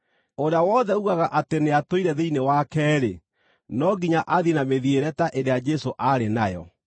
Ũrĩa wothe uugaga atĩ nĩatũire thĩinĩ wake-rĩ, no nginya athiĩ na mĩthiĩre ta ĩrĩa Jesũ aarĩ nayo.